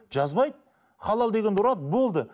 жазбайды халал дегенді ұрады болды